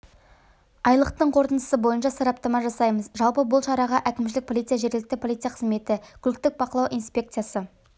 айлықтың қорытындысы бойынша сараптама жасаймыз жалпы бұл шараға әкімшілік полиция жергілікті полиция қызметі көліктік бақылау инспекциясы